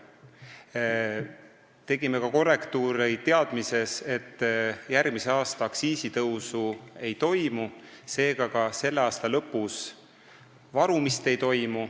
Me tegime korrektiive ka selle teadmisega, et järgmisel aastal aktsiisitõusu ei tule ja seega selle aasta lõpus varumist ei toimu.